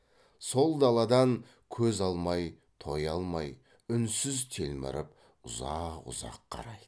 сол даладан көз алмай тоя алмай үнсіз телміріп ұзақ ұзақ қарайды